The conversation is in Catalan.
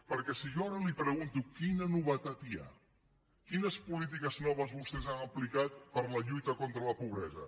perquè si jo ara li pregunto quina novetat hi ha quines polítiques noves vostès han aplicat per la lluita contra la pobresa